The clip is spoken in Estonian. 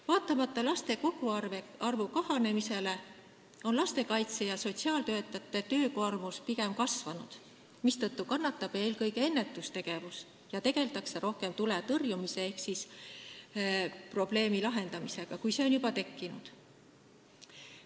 Vaatamata laste koguarvu kahanemisele on lastekaitse- ja sotsiaaltöötajate töökoormus pigem kasvanud, mistõttu kannatab eelkõige ennetustegevus ja rohkem tegeldakse tule tõrjumise ehk probleemi lahendamisega siis, kui see on juba tekkinud.